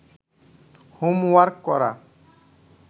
homework করা